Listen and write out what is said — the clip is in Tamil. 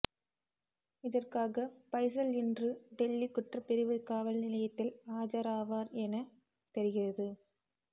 இதற்காக பைஸல் இன்று டெல்லி குற்றப்பிரிவு காவல் நிலையத்தில் ஆஜராவார் என தெரிகிறது